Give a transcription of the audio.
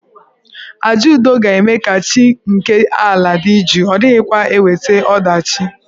Àjà udo ga-eme ka chi nke ala dị jụụ, ọ dịghịkwa eweta ọdachi.